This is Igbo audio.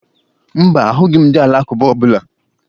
Mba, ahụghị m ndị Alakụba ọbụla